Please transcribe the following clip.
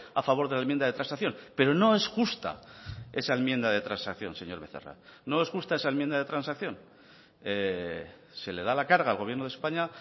a favor de la enmienda de transacción pero no es justa esa enmienda de transacción señor becerra no es justa esa enmienda de transacción se le da la carga al gobierno de españa